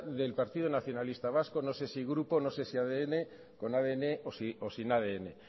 del partido nacionalista vasco no sé si grupo no sé si adn con adn o sin adn